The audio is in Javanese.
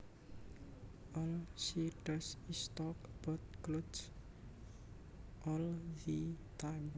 All she does is talk about clothes all the time